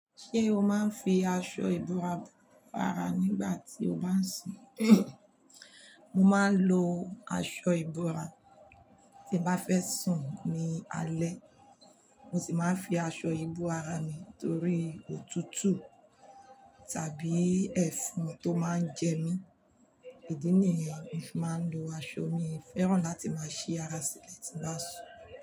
Ṣé o máa ń fi aṣọ ìbora bo ara nígbà tí o bá ń sùn? Mo máa ń lo aṣọ ìbora tí bá fẹ́ sùn ní alẹ́. Mo sì máa ń fi aṣọ ìbora mi torí òtútù tàbí ẹfon tó máa ń jẹ mí. Idí nìyẹn mo fi máa ń lo aṣọ. Mi ò fẹ́ràn láti máa ṣí ara sílẹ̀ tí bá sùn.